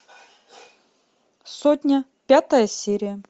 сотня пятая серия